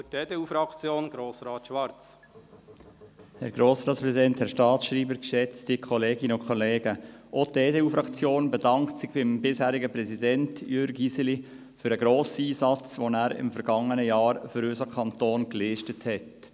Auch die EDU-Fraktion bedankt sich beim bisherigen Präsidenten, Jürg Iseli, für seinen grossen Einsatz, den er im vergangenen Jahr für unseren Kanton geleistet hat.